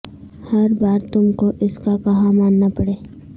ہر بار تم کو اس کا کہا ماننا پڑے